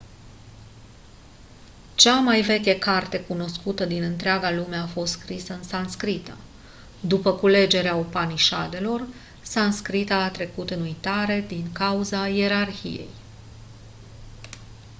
cea mai veche carte cunoscută din întreaga lume a fost scrisă în sanscrită după culegerea upanișadelor sanscrita a trecut în uitare din cauza ierarhiei